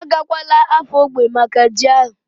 Agakwala Afo ógbè maka ji ahu?